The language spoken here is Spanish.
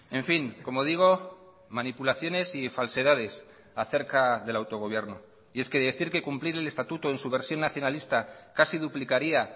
en fin como digo manipulaciones y falsedades acerca del autogobierno y es que decir que cumplir el estatuto en su versión nacionalista casi duplicaría